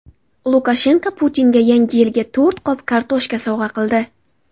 Lukashenko Putinga Yangi yilga to‘rt qop kartoshka sovg‘a qildi.